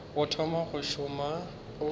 o thoma go šoma o